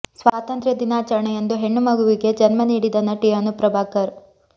ಸ್ವಾತಂತ್ರ್ಯ ದಿನಾಚರಣೆಯಂದು ಹೆಣ್ಣು ಮಗುವಿಗೆ ಜನ್ಮ ನೀಡಿದ ನಟಿ ಅನು ಪ್ರಭಾಕರ್